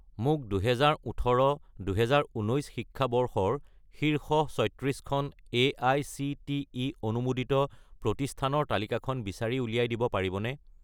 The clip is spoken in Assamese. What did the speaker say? মোক 2018 - 2019 শিক্ষাবৰ্ষৰ শীৰ্ষ 36 খন এআইচিটিই অনুমোদিত প্ৰতিষ্ঠানৰ তালিকাখন বিচাৰি উলিয়াই দিব পাৰিবনে?